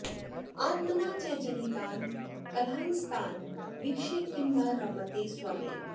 आत्मना च जनितान् कलहांस्तान् वीक्ष्य किं न रमते स्वयमेव